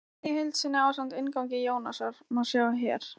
Kvæðið í heild sinni, ásamt inngangi Jónasar, má sjá hér.